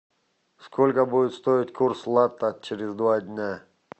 сколько будет стоить курс лата через два дня